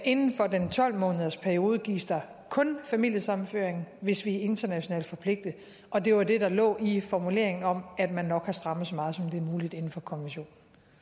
inden for den tolv månedersperiode gives der kun familiesammenføring hvis vi er internationalt forpligtet og det var det der lå i formuleringen om at man nok har strammet så meget som det er muligt inden for konventionen